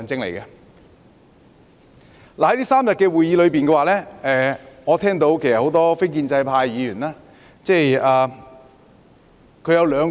在這3天的會議上，我聽到很多非建制派議員的發言。